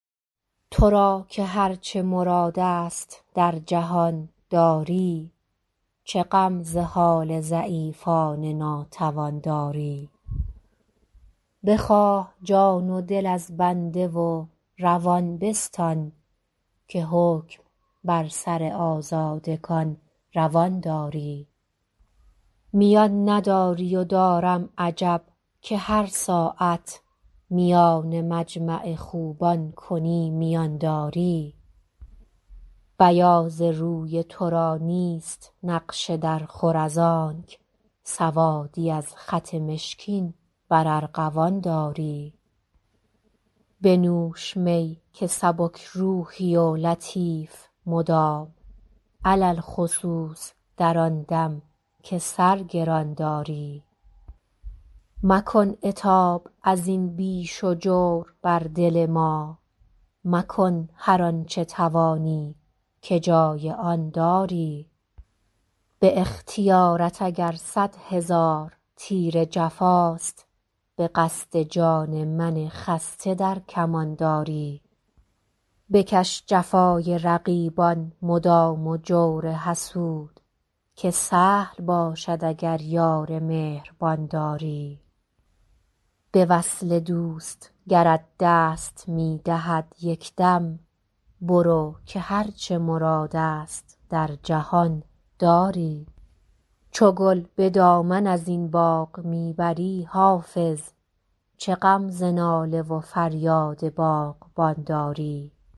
تو را که هر چه مراد است در جهان داری چه غم ز حال ضعیفان ناتوان داری بخواه جان و دل از بنده و روان بستان که حکم بر سر آزادگان روان داری میان نداری و دارم عجب که هر ساعت میان مجمع خوبان کنی میان داری بیاض روی تو را نیست نقش درخور از آنک سوادی از خط مشکین بر ارغوان داری بنوش می که سبک روحی و لطیف مدام علی الخصوص در آن دم که سر گران داری مکن عتاب از این بیش و جور بر دل ما مکن هر آن چه توانی که جای آن داری به اختیارت اگر صد هزار تیر جفاست به قصد جان من خسته در کمان داری بکش جفای رقیبان مدام و جور حسود که سهل باشد اگر یار مهربان داری به وصل دوست گرت دست می دهد یک دم برو که هر چه مراد است در جهان داری چو گل به دامن از این باغ می بری حافظ چه غم ز ناله و فریاد باغبان داری